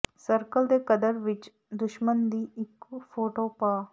circle ਦੇ ਕਦਰ ਵਿੱਚ ਦੁਸ਼ਮਣ ਦੀ ਇੱਕ ਫੋਟੋ ਪਾ